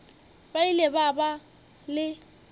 ba ile ba ba le